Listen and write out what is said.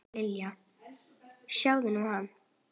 Lilla, sjáðu nú hann.